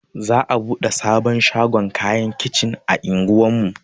Za'a buɗe sabon shagon kayan kicin a unguwar mu.